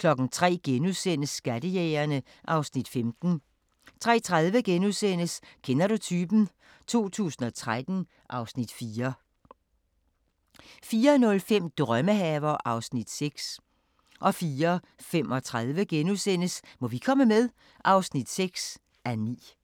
03:00: Skattejægerne (Afs. 15)* 03:30: Kender du typen? 2013 (Afs. 4)* 04:05: Drømmehaver (Afs. 6) 04:35: Må vi komme med? (6:9)*